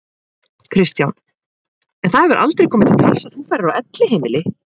Kristján: En það hefur aldrei komið til tals að þú færir á elliheimili?